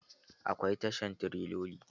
Akwai tashan tireloli.